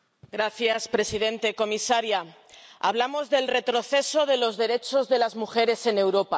Señor presidente, comisaria, hablamos del retroceso de los derechos de las mujeres en Europa.